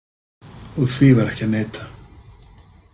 Og því var ekki að neita.